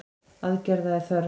Aðgerða sé þörf.